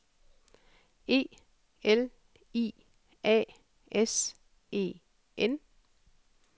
E L I A S E N